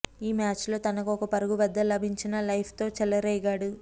ఈ మ్యాచ్లో తనకు ఒక పరుగు వద్ద లభించిన లైఫ్తో చెలరేగాడు